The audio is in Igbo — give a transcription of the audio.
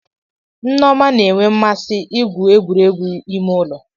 Nneoma na-enwe mmasị igwu egwuregwu ime ụlọ.